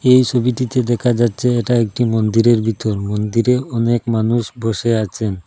এই সবিটিতে দেখা যাচ্ছে এটা একটি মন্দিরের ভিতর মন্দিরে অনেক মানুষ বসে আছেন।